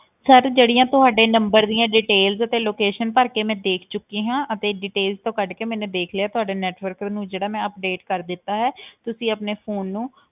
Sir ਜਿਹੜੀਆਂ ਤੁਹਾਡੇ number ਦੀਆਂ details ਤੇ location ਭਰ ਕੇ ਮੈਂ ਦੇਖ ਚੁੱਕੀ ਹਾਂ ਅਤੇ detail ਤੋਂ ਕੱਢ ਕੇ ਮੈਨੇ ਦੇਖ ਲਿਆ, ਤੁਹਾਡਾ network ਨੂੰ ਜਿਹੜਾ ਮੈਂ update ਕਰ ਦਿੱਤਾ ਹੈ ਤੁਸੀਂ ਆਪਣੇ phone ਨੂੰ